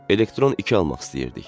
Elektron 2 almaq istəyirdik.